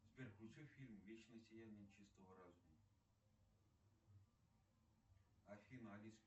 сбер включи фильм вечное сияние чистого разума афина алиса